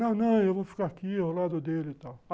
Não, não, eu vou ficar aqui ao lado dele e tal.